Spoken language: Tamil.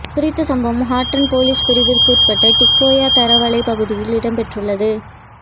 குறித்த சம்பவம் ஹட்டன் பொலிஸ் பிரிவிற்குற்பட்ட டிக்கோயா தரவளை பகுதியில் இடம்பெற்றுள்ளது